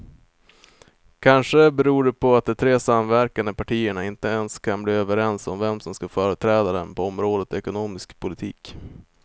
Kanske beror det på att de tre samverkande partierna inte ens kan bli överens om vem som ska företräda dem på området ekonomisk politik.